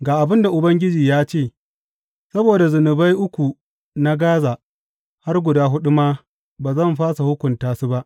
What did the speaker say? Ga abin da Ubangiji ya ce, Saboda zunubai uku na Gaza, har guda huɗu ma, ba zan fasa hukunta su ba.